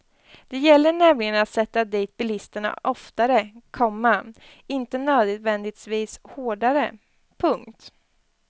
Det gäller nämligen att sätta dit bilisterna oftare, komma inte nödvändigtvis hårdare. punkt